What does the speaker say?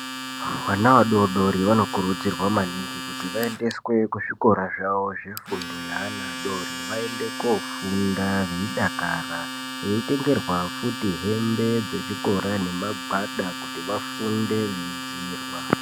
Vana vadodori vanokurudzirwa maningi kuti vaendeswe kuzvikora zvavo zvefundo yeana adori kuti vaende kofunda veidakara, veitengerwa futi hembe dzechikora nemagwada kuti vafunde veidziirwa.